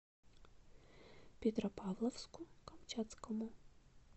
петропавловску камчатскому